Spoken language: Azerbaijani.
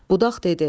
Budaq dedi: